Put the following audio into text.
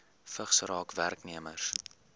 vigs raak werknemers